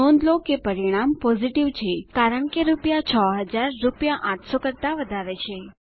નોંધ લો કે પરિણામ પોઝિટિવ છે કારણ કે રૂપિયા 6000 રૂપિયા 800 કરતા વધારે છે